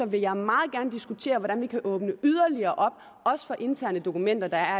vil jeg meget gerne diskutere hvordan vi kan åbne yderligere op også for interne dokumenter der